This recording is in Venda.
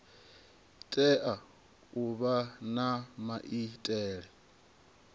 tea u vha na maitele